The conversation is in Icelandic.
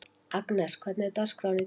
Agnes, hvernig er dagskráin í dag?